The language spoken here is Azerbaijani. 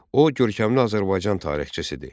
O görkəmli Azərbaycan tarixçisidir.